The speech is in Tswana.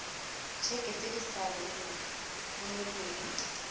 heke tse di sa romelweng